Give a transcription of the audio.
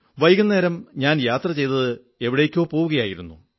വൈകുന്നേരം ഞാൻ യാത്രചെയ്ത് എവിടേക്കോ പോകയായിരുന്നു